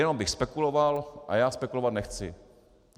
Jenom bych spekuloval a já spekulovat nechci.